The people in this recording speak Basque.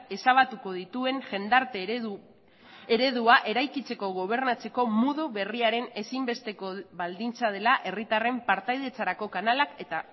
ezabatuko dituen jendarte eredua eraikitzeko gobernatzeko modu berriaren ezinbesteko baldintza dela herritarren partaidetzarako kanalak eta